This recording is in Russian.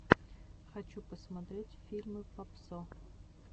хочу посмотреть фильмы папсо